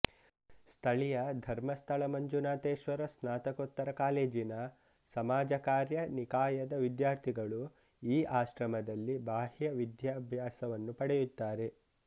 ಸ್ಥಳೀಯ ಧರ್ಮಸ್ಥಳ ಮಂಜುನಾಥೇಶ್ವರ ಸ್ನಾತ್ತಕೋತ್ತರ ಕಾಲೇಜಿನ ಸಮಾಜ ಕಾರ್ಯ ನಿಕಾಯದ ವಿದ್ಯಾರ್ಥಿಗಳು ಈ ಆಶ್ರಮದಲ್ಲಿ ಬಾಹ್ಯ ವಿದ್ಯಾಭ್ಯಾಸವನ್ನು ಪಡೆಯುತ್ತಾರೆ